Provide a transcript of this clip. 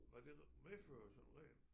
Hvad det medfører som regel